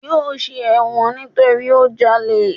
Yóò ṣe ẹ̀wọ̀n nítorí ó jalè.